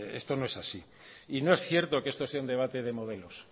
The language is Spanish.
esto no es así y no es cierto que esto sea un debate de modelos